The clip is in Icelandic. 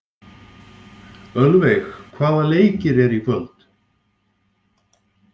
Ölveig, hvaða leikir eru í kvöld?